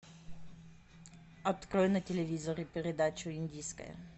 открой на телевизоре передачу индийское